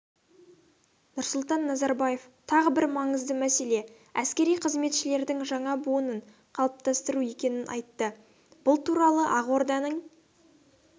нұрсұлтан назарбаев тағы бір маңызды мәселе әскери қызметшілердің жаңа буынын қалыптастыру екенін айтты бұл туралы ақорданың